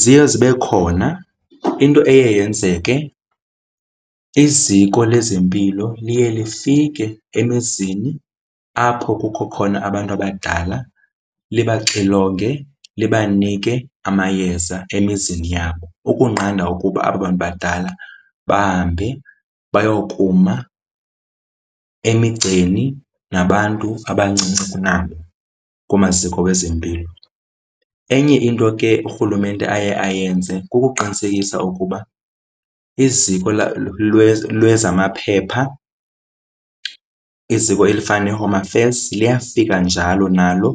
Ziye zibe khona. Into eye yenzeke iziko lezempilo liye lifike emizini apho kukho khona abantu abadala libaxilonge libanike amayeza emizini yabo. Ukunqanda ukuba aba bantu badala bahambe bayokuma emigceni nabantu abancinci kunabo kumaziko wezempilo. Enye into ke urhulumente aye ayenze kukuqinisekisa ukuba iziko lwezamaphepha iziko elifana neeHome Affairs liyafika njalo nalo